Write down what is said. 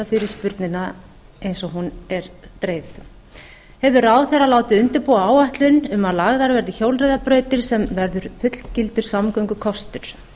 fyrirspurnina eins og hún er dreifð afrit hefur ráðherra látið undirbúa áætlun um að lagðar verði hjólreiðabrautir sem verði fullgildur samgöngukostur